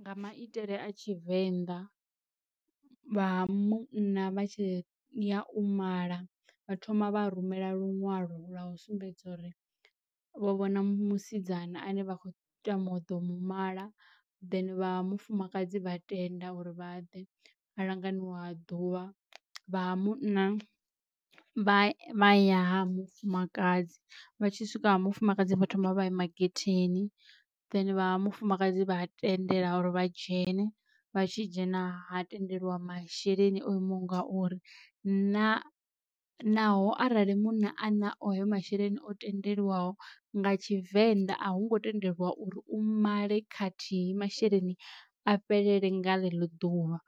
Nga maitele a tshivenḓa vha ha munna vha tshi ya u mala vha thoma vha rumela luṅwalo lwa u sumbedza uri vho vhona musidzana ane vha khou tama u ḓo mu mala, then vha ha mufumakadzi vha tenda uri vha ḓe ha langaniwa wa ḓuvha. Vha ha munna vha vha ya ha mufumakadzi vha tshi swika ha mufumakadzi vha thoma vha ima getheni vha ha mufumakadzi vha a tendela uri vha dzhene, vha tshi dzhena ha tendeliwa masheleni o imaho nga uri na naho arali munna a na a nao hayo masheleni o tendelwaho nga tshivenḓa a hungo tendelwa uri u male khathihi masheleni a fhelele nga ḽeḽo ḓuvha,